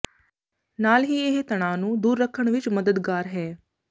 ਨਾਲ ਹੀ ਇਹ ਤਣਾਅ ਨੂੰ ਦੂਰ ਰੱਖਣ ਵਿਚ ਵੀ ਮਦਦਗਾਰ ਹੈ